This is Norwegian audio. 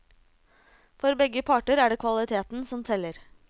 For begge parter er det kvaliteten som teller.